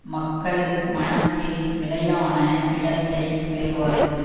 மக்கள் மனத்தில் நிலையான இடத்தை பெறுவார்கள்